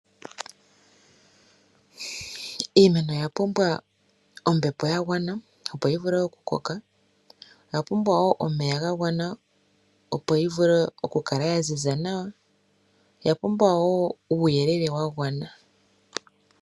Iimeno oya pumbwa ombepo ya gwana, opo yi vule oku koka. Oya pumbwa wo omeya ga gwana, opo yi vule oku kala ya ziza nawa. oya pumbwa wo uuyelele wa gwana.